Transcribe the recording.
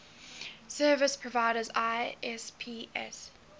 service providers isps